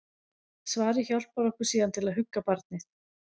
Svarið hjálpar okkur síðan til að hugga barnið.